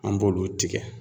An b'olu tigɛ.